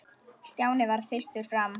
Stjáni varð fyrstur fram.